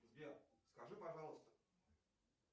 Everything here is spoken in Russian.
сбер скажи пожалуйста